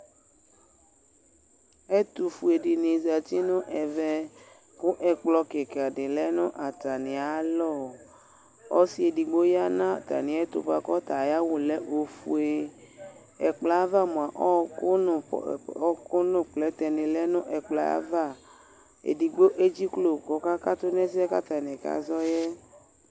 ɛtufuɛdini zɑtinu ɛmɛ kuɛkplokika lɛnu ɑtɑmiɑlɔ ɔsiɛdigboyɑ nɑtɑmiɛtu kɔtɑ ɑyawu lɛ ɔfuɛ ɛkploava ɔku nuplɛtɛ nilɛ nu ɛploɑva ɛdigbo ɛdziklo kɔkɑkɑtu nɛsɛkɑkɑzɔɛ